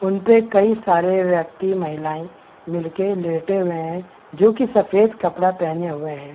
उन पे कई सारे व्यक्ति महिलायें मिल के लेटे हुए हैं जो कि सफ़ेद कपड़ा पहने हुए हैं ।